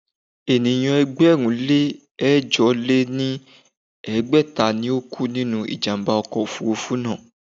Ènìyàn ẹgbẹ̀rún lé ẹ̀jọ lé ní ẹgbẹ́ta ni ó kú nínú ìjàm̀bá ọkọ̀ òfurufú náà.